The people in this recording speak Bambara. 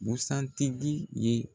Busan tigi ye.